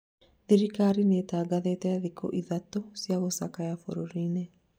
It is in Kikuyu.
thirikari nĩtangathĩte thikũ ithatũ cia gũcakaya bũrũrinĩ